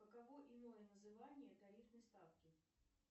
каково иное название тарифной ставки